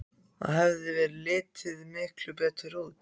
Það hefði litið miklu betur út.